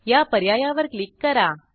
या पर्यायावर क्लिक करा